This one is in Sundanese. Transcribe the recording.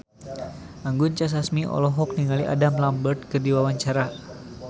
Anggun C. Sasmi olohok ningali Adam Lambert keur diwawancara